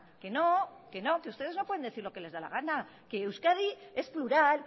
que no que no que ustedes no pueden decir lo que les da la gana que euskadi es plural